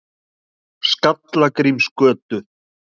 Skallagrímsgötu